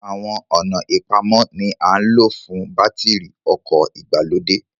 Àwọn ọ̀nà ìpamọ́ ni à ń lò fún bátìrì ọkọ̀ ìgbàlódé